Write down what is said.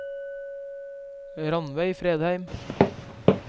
Ranveig Fredheim